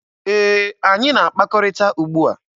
Ee, anyị na-akpakọrịta ugbua.